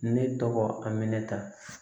Ne tɔgɔ aminɛnta